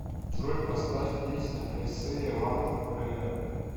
джой поставь песня ай сэй э литл прэйер